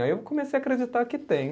Aí eu comecei a acreditar que tem.